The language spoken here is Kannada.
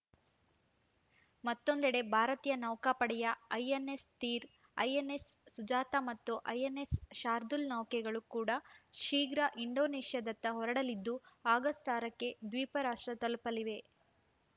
ಮತ್ತೊಂದೆಡೆ ಭಾರತೀಯ ನೌಕಾಪಡೆಯ ಐಎನ್‌ಎಸ್‌ ತೀರ್‌ ಐಎನ್‌ಎಸ್‌ ಸುಜಾತಾ ಮತ್ತು ಐಎನ್‌ಎಸ್‌ ಶಾರ್ದೂಲ್‌ ನೌಕೆಗಳು ಕೂಡಾ ಶೀಘ್ರ ಇಂಡೋನೇಷ್ಯಾದತ್ತ ಹೊರಡಲಿದ್ದು ಅಕ್ಟೋಬರ್ ಆರಕ್ಕೆ ದ್ವೀಪ ರಾಷ್ಟ್ರ ತಲುಪಲಿವೆ